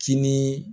Kinin